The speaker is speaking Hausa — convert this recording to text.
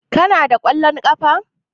Kana da kwallon ƙafa?